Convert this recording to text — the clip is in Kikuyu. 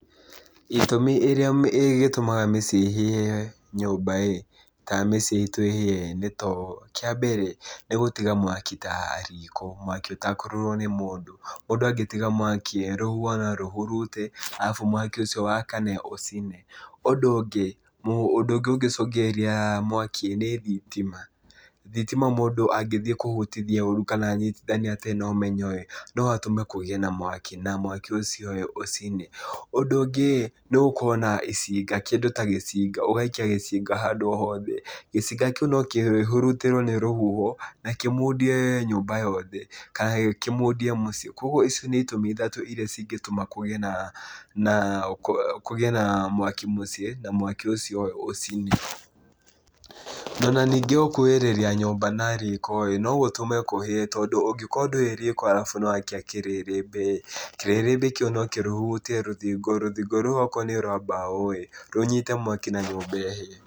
Itũmi ĩrĩa gĩtũmaga mĩciĩ ĩhĩe nyũmba-ĩ, kana mĩciĩ itũ ĩhĩe-ĩ nĩ ta ũũ, kĩa mbere nĩ gũtiga mwaki taa riko, mwaki ũtekũrorwo nĩ mũndũ. Mũndũ angĩtiga mwaki-ĩ rũhuho norũhurute arabu mwaki ũcio wakana ũcine. Ũndũ ũngĩ, ũndũ ũngĩ ũngĩcũngĩrĩria mwaki-ĩ nĩ thitima. Thitima mũndũ angĩthiĩ kũhutithia ũru kana anyitithanie atarĩ na ũmenyo-ĩ, no atũme kũgĩe na mwaki na mwaki ũcio-ĩ ũcine. Ũndũ ũngĩ-ĩ nĩgũkorwo na icinga kĩndũ ta gĩcinga ũgaikia gĩcinga handũ o hothe, gĩcinga kĩu no kĩhurutĩrwo nĩ rũhuho na kĩmundie nyũmba yothe kana kĩmundie mũciĩ, koguo icio nĩ itũmi ithatũ iria cigĩtũma kũgĩe naa naa kũgĩe naa mwaki mũciĩ na mwaki ũcio ũcine. Na, ona ningĩ gũkuhĩrĩria nyũmba na riko-ĩ no gũtũme kũhĩe, tondũ ũngĩkorwo ndũĩ riko arabu nĩwakia kĩrĩrĩmbĩ-ĩ, kĩrĩrĩmbĩ kĩu no kĩhurutie rũthingo, rũthingo rũu okorwo nĩ rwa mbaũ-ĩ, rũnyite mwaki na nyũmba ĩhĩe.